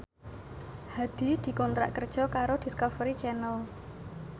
Hadi dikontrak kerja karo Discovery Channel